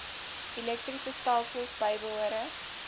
elektriese stelsels bybehore